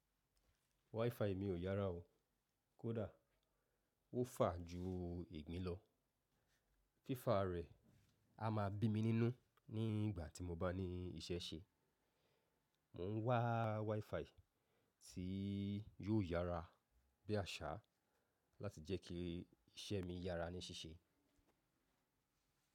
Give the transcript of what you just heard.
WiFi mi ò yára o. Kódà ó fà ju igbìn lọ. Fífà rẹ̀ a ma bí mi nínú nígbà tí mo bá ní ìṣẹ́ ṣe. Mo ń wá WiFi tí yóò yára bí àṣá láti jẹ́ kí ìṣe mi yára ní ṣíṣe.